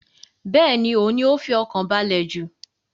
Bẹ́ẹ̀ni, òhun ni ó fi ọkàn balẹ̀ jù.